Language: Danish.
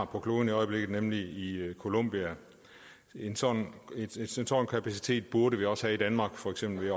kloden i øjeblikket nemlig i columbia en sådan kapacitet burde vi også have i danmark for eksempel